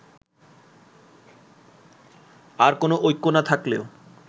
আর কোনো ঐক্য না থাকলেও